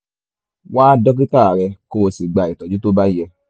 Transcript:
wá dókítà rẹ kó o sì gba ìtọ́jú tó bá yẹ